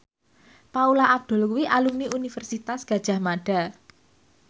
Paula Abdul kuwi alumni Universitas Gadjah Mada